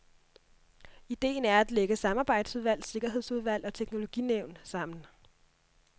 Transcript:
Idéen er at lægge samarbejdsudvalg, sikkerhedsudvalg og teknologinævn sammen.